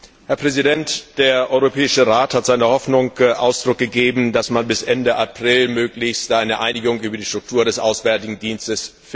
Der Europäische Rat hat seiner Hoffnung Ausdruck gegeben, dass man bis Ende April möglichst eine Einigung über die Struktur des Europäischen Auswärtigen Dienstes finden möge.